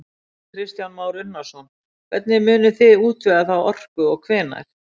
Kristján Már Unnarsson: Hvernig munið þið útvega þá orku og hvenær?